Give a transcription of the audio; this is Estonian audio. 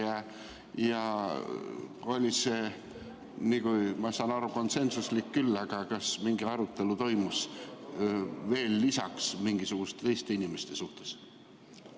See otsus oli, nagu ma aru saan, küll konsensuslik, aga kas toimus veel mingi arutelu lisaks, mingite teiste inimeste suhtes?